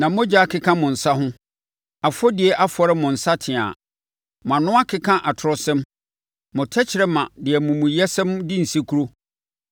Na mogya akeka mo nsa ho, afɔdie afɔre mo nsateaa. Mo ano akeka atorɔsɛm, mo tɛkrɛma de amumuyɛsɛm di nsekuro.